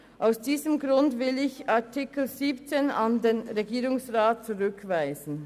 Aus diesem Grund will ich Artikel 17 an den Regierungsrat zurückweisen.